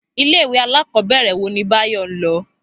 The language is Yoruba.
Ilé ìwé alákòóbèrè wo ni Báyò n lo?